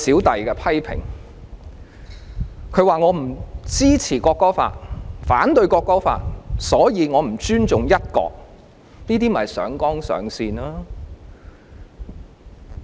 他們指我不支持並反對《條例草案》，所以我就是不尊重"一國"，這就是上綱上線。